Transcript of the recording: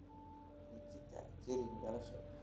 nikita kering dhalasho